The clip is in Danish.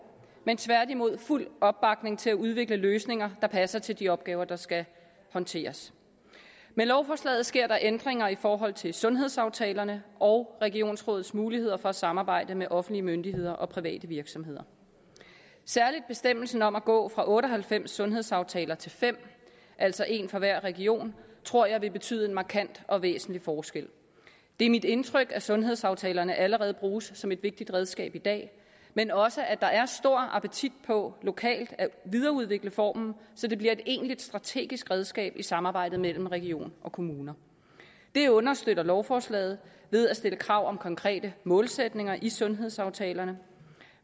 men tværtimod fuld opbakning til at udvikle løsninger der passer til de opgaver der skal håndteres med lovforslaget sker der ændringer i forhold til sundhedsaftalerne og regionsrådets mulighed for at samarbejde med offentlige myndigheder og private virksomheder særligt bestemmelsen om at gå fra otte og halvfems sundhedsaftaler til fem altså en for hver region tror jeg vil betyde en markant og væsentlig forskel det er mit indtryk at sundhedsaftalerne allerede bruges som et vigtigt redskab i dag men også at der er stor appetit på lokalt at videreudvikle formen så det bliver et egentlig strategisk redskab i samarbejde mellem region og kommuner det understøtter lovforslaget ved at stille krav om konkrete målsætninger i sundhedsaftalerne